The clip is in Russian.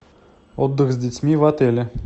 отдых с детьми в отеле